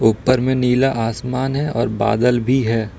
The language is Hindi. ऊपर में नीला आसमान हैं और बादल भी हैं।